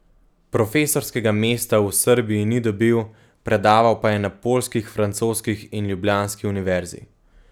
Profesorskega mesta v Srbiji ni dobil, predaval pa je na poljskih, francoskih in ljubljanski univerzi.